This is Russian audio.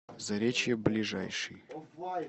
заречье ближайший